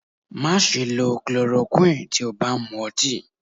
Má ṣe lọ clorokúì tí ó bá ń mú ọtí.